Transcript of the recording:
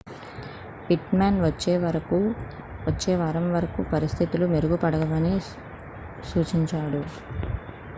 pit Maan వచ్చే వారం వరకు పరిస్థితులు మెరుగుపడవని సూచించాడు